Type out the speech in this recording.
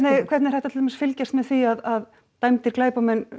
hvernig er hægt að til dæmis fylgjast með því að dæmdir glæpamenn